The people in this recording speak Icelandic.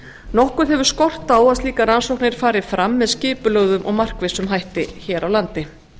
nokkuð hefur skort á að slíkar rannsóknir fari fram með skipulögðum og markvissum hætti hér á landi